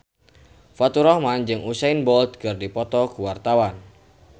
Faturrahman jeung Usain Bolt keur dipoto ku wartawan